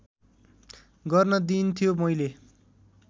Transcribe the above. गर्न दिइन्थ्यो मैले